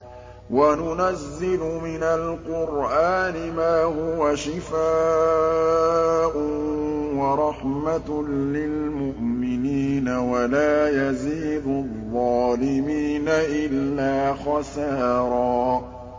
وَنُنَزِّلُ مِنَ الْقُرْآنِ مَا هُوَ شِفَاءٌ وَرَحْمَةٌ لِّلْمُؤْمِنِينَ ۙ وَلَا يَزِيدُ الظَّالِمِينَ إِلَّا خَسَارًا